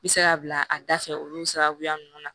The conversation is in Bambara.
Bɛ se ka bila a da fɛ olu sababuya ninnu na